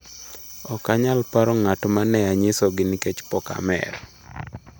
“Ok anyal paro ng’at ma ne anyisogi nikech pok amer.”